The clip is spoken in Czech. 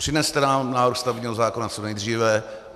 Přineste nám návrh stavebního zákona co nejdříve.